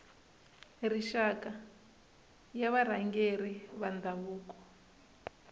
rixaka ya varhangeri va ndhavuko